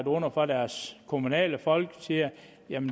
under for deres kommunale folk siger